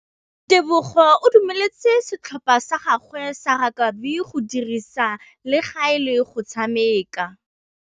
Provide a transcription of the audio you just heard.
Tebogô o dumeletse setlhopha sa gagwe sa rakabi go dirisa le galê go tshameka.